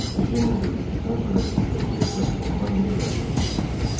Ejenlə görüşdükdən sonra Vikontessa ondan niyə gəldiyini soruşdu.